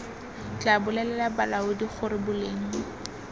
tla bolelela balaodi gore boleng